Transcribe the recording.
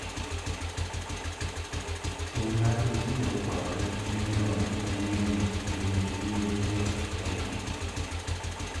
Tim mar tiyo kod minyonge mang'eny ei liete e Kenya